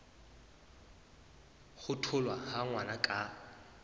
ho tholwa ha ngwana ka